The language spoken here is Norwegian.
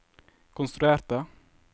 konstruerte